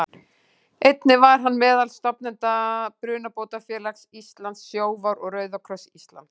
Einnig var hann meðal stofnenda Brunabótafélags Íslands, Sjóvár og Rauða kross Íslands.